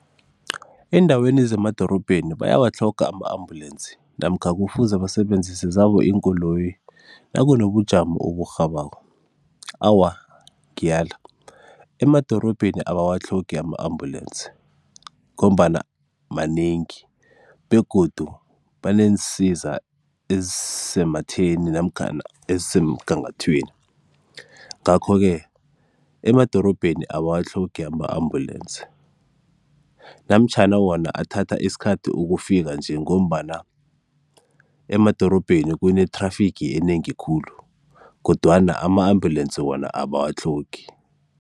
Eendaweni zemadorobheni bayawatlhoga ama-ambulensi namkha kufuze basebenzise zabo iinkoloyi nakunobujamo oburhabako? Awa, ngiyala emadorobheni abawatlhogi ama-ambulensi ngombana manengi begodu baneensiza ezisematheni namkhana ezisemgangathweni ngakho-ke emadorobheni abawatlhogi ama-ambulensi namtjhana wona athatha isikhathi ukufika nje ngombana emadorobheni kune-traffic enengi khulu, kodwana ama-ambulensi wona abawatlhogi.